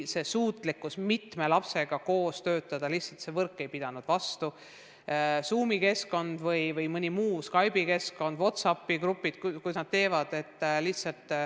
Raske oli mitme lapsega koos töötada, lihtsalt võrk ei pidanud vastu, sh Zoomi keskkond või mõni muu, näiteks Skype'i ja WhatsAppi grupid.